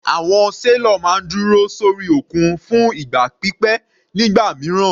Àwọn sailor máa ń dúró sórí òkun fún ìgbà pípẹ́ nígbà mìíràn.